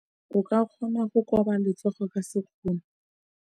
O ka kgona go koba letsogo ka sekgono.